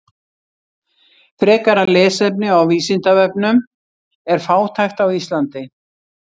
Frekara lesefni á Vísindavefnum: Er fátækt á Íslandi?